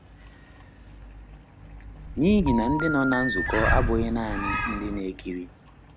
N’ihi na ndị nọ na nzukọ abụghị nanị ndị na-ekiri.